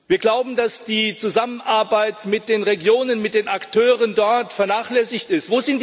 Wir glauben, dass die Zusammenarbeit mit den Regionen, mit den Akteuren dort vernachlässigt wird.